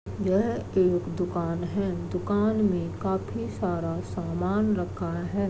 यह एक दुकान है दुकान में काफी सारा सामान रखा है।